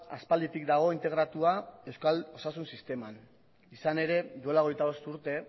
aspalditik dago integratua euskal osasun sisteman izan ere duela hogeita bost urte